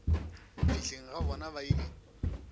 fihleng ga bona ba ile